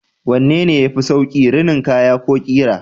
Wanne ne yafi sauƙi, rinin kaya ko ƙira?